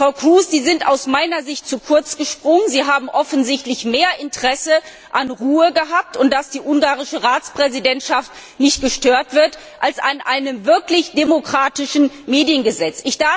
Frau Kroes, Sie sind aus meiner Sicht zu kurz gesprungen, Sie haben offensichtlich mehr Interesse an Ruhe gehabt und daran, dass die ungarische Ratspräsidentschaft nicht gestört wird, als an einem wirklich demokratischen Mediengesetz.